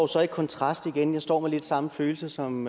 så en kontrast igen jeg står med lidt samme følelse som